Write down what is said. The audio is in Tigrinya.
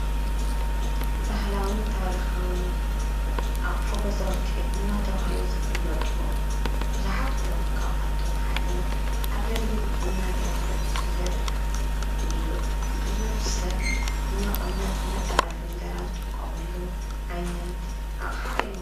ባህላዉን ታሪኻዉን ኣቑሑ ገዛውቲ እናተብሃሉ ዝፍለጡ ቡዙሓት እዮም። ካብኣቶም ሓደ ኣገልግል እናተብሃለ ዝፍለጥ ቡዙሕ ሰብ ንመቐመጢ መጠርነፊ እንጀራ ዝጥቀመሉ ዓይነት ኣቕሓ እዩ።